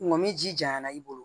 Nga ni ji janyana i bolo